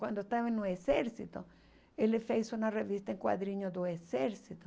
Quando estava no exército, ele fez uma revista em quadrinhos do exército.